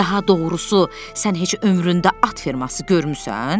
Daha doğrusu sən heç ömründə at ferması görmüsən?